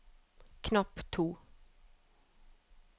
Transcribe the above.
knapp to